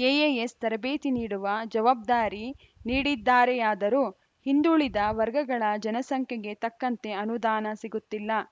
KAS ತರಬೇತಿ ನೀಡುವ ಜವಬ್ದಾರಿ ನೀಡಿದ್ದಾರೆಯಾದರೂ ಹಿಂದುಳಿದ ವರ್ಗಗಳ ಜನಸಂಖ್ಯೆಗೆ ತಕ್ಕಂತೆ ಅನುದಾನ ಸಿಗುತ್ತಿಲ್ಲ